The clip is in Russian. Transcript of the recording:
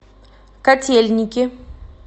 котельники